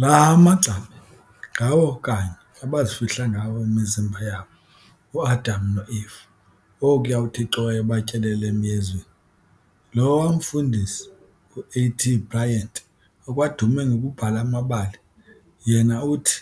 Laa maqgabi ngawo kanye abazifihla ngawo imizimba yabo, uAdam noEfa okuya uThixo wayebatyelele emYezweni. Lowa umfundisi uA. T. Bryant okwadume ngokubhala amabali, yena uthi,